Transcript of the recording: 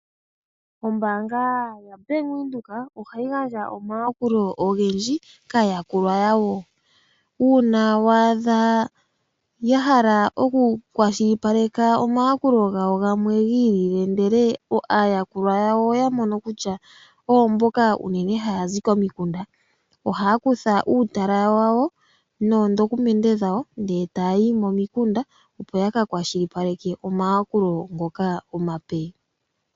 Ombaanga yaVenduka ohayi gandja omayakulo ogendji kaayakulwa yawo . Uuna wa adha yahala oku kwashilipaleka omayakulo gawo gamwe gi ili ndele aayakulwa yawo oya mono kutya oyo mboka unene hayazi komikunda ,ohaya kutha uutala wawo noondokumende dhawo ndele tayayi momikunda opo ya ka kwashilipaleke omayakulo ngoka omape.